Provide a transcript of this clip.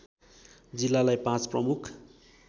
जिल्लालाई पाँच प्रमुख